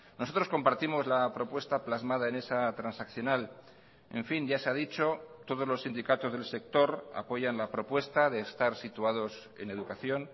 nosotros compartimos la propuesta plasmada en esa transaccional en fin ya se ha dicho todos los sindicatos del sector apoyan la propuesta de estar situados en educación